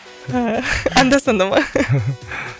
анда санда ма